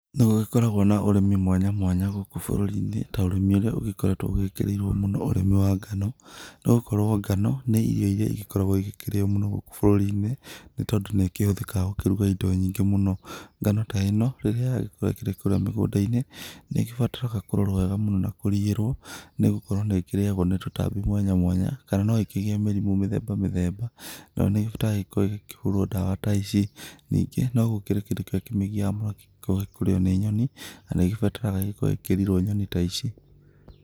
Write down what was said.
Nĩgũkoragwo na ũrĩmi mwanya mwanya gũkũ bũrũri-inĩ, ta ũrími ũrĩa ũgĩkoretwo wĩkĩrĩirwo mũno ũrĩmi wa ngano, nogakora ngano, nĩ irio iria igĩkoragwo ikĩrĩo mũno gũkũ bũrũri-inĩ, nĩtondũ nĩikĩhũthĩkaga gũkĩruga indo nyingĩ mũno, ngano ta íno, rĩrĩa yagĩkorwo ĩgĩkũra mĩgũnda-inĩ, nĩgĩbataraga kũrorwo wega na kũriĩrwo nĩgũkorwo nĩkĩrĩagwo nĩ tũtambi mwanya mwanya, kana noĩkĩgír mĩrimũ mĩthemba mĩthemba nanĩrabatara gũkorwo ĩkĩhũrwo ndawa, ningĩ nogwĩkĩra kĩndú kĩrĩa gĩkoragwo gĩkĩmĩgia mwaki, kwaga kũrĩo nĩ nyoni, harĩa ĩbataraga gũkorwo ĩkĩriĩrwo nyoni ta icio.